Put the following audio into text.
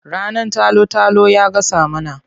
Rannan talo-talo ya gasa mana.